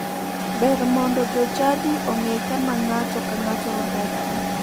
Ber mondo jochadi ong'e kama ng'ato ka ng'ato odakie.